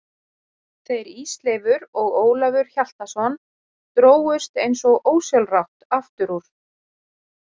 Þeir Ísleifur og Ólafur Hjaltason drógust eins og ósjálfrátt aftur úr.